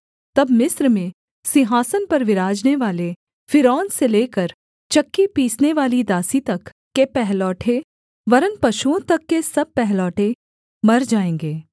तब मिस्र में सिंहासन पर विराजनेवाले फ़िरौन से लेकर चक्की पीसनेवाली दासी तक के पहलौठे वरन् पशुओं तक के सब पहलौठे मर जाएँगे